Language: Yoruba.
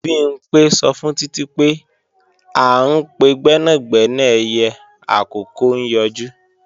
Bimpé sọ fún Títí pé, à ń pe gbẹ́nàgbẹ́nà ẹyẹ àkókó ń yọjú